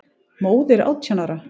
Móðir átján ára?